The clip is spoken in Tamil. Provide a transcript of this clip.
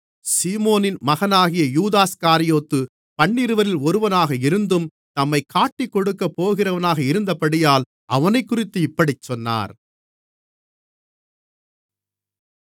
சீமோனின் மகனாகிய யூதாஸ்காரியோத்து பன்னிருவரில் ஒருவனாக இருந்தும் தம்மைக் காட்டிக்கொடுக்கப்போகிறவனாக இருந்தபடியினால் அவனைக்குறித்து இப்படிச் சொன்னார்